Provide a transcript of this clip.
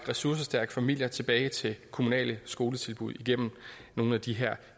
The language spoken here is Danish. ressourcestærke familier tilbage til det kommunale skoletilbud igennem nogle af de her